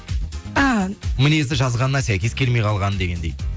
мінезі жазғанына сәйкес келмей қалған дегендей